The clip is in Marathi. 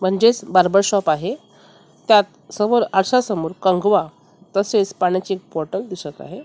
म्हणजेच बार्बर शॉप आहे त्यात समोर आरश्या समोर कंगवा तसेच पाण्याची बॉटल दिसत आहे.